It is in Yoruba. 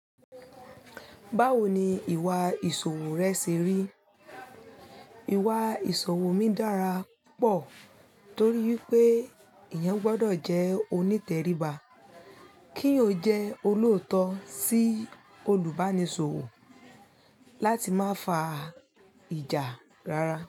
Báwo ni ìwà ìṣòwò rẹ ṣe rí? Ìwà ìṣòwò mi dára púpọ̀ torí wipé eeyan gbọdọ̀ jẹ́ onítẹ̀ríba keeyan ò jẹ́ olóòótọ́ sí olùbánisòwò láti má fa ìjà rara.